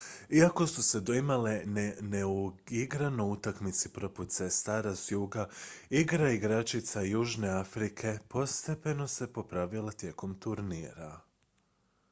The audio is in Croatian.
iako su se doimale neuigrano u utakmici protiv sestara s juga igra igračica južne afrike postepeno se popravila tijekom turnira